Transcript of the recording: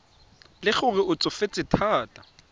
le gore o tsofetse thata